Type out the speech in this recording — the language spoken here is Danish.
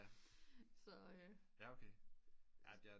Så øh